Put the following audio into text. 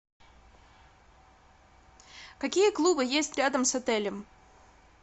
какие клубы есть рядом с отелем